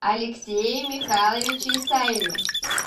алексее михайловиче исаеве